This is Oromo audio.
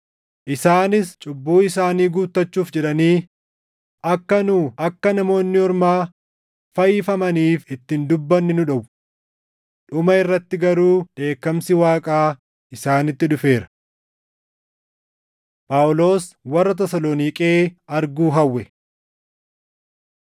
isaanis cubbuu isaanii guuttachuuf jedhanii akka nu akka Namoonni Ormaa fayyifamaniif itti hin dubbanne nu dhowwu. Dhuma irratti garuu dheekkamsi Waaqaa isaanitti dhufeera. Phaawulos Warra Tasaloniiqee Arguu Hawwe